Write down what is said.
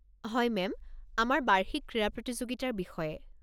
হয় মেম, আমাৰ বাৰ্ষিক ক্ৰীড়া প্ৰতিযোগিতাৰ বিষয়ে।